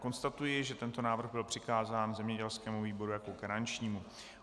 Konstatuji, že tento návrh byl přikázán zemědělskému výboru jako garančnímu.